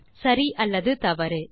சரி அல்லது தவறு 2